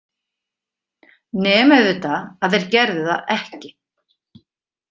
Nema auðvitað að þeir gerðu það ekki.